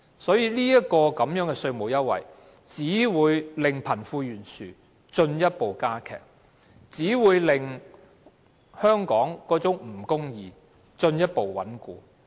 這個稅務優惠只會令貧富懸殊進一步加劇，令香港的不公義情況進一步穩固。